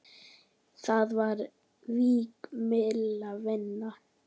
Þá var vík milli vina.